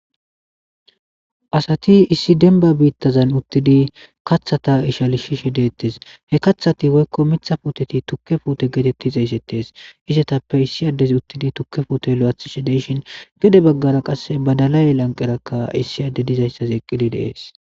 asati issi denba biittazan uttidi kathata ishalishishi deettes he kathati woykko mitha puuteti tukke puute geetettiza xsettes izetappe issi addez uttidi tukke fuute lo7athi shi deshin gede baggara qasse badalay lanqerakka issi adde dizayssaz eqqidi deees